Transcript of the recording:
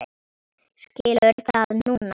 Skilur það núna.